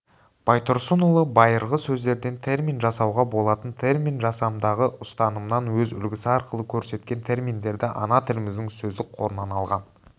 байтұрсынұлы байырғы сөздерден термин жасауға болатын термин жасамдағы ұстанымын өз үлгісі арқылы көрсеткен терминдерді ана тіліміздің сөздік қорынан алған